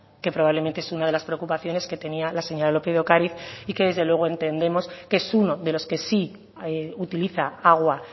que probablemente es una de las preocupaciones que tenía la señora lópez de ocáriz y que desde luego entendemos que es uno de los que sí utiliza agua